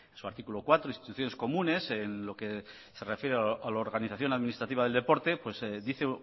su artículo cuatro instituciones comunes en lo que se refiere a la organización administrativa del deporte dice